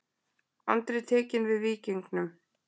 Andri tekinn við Víkingum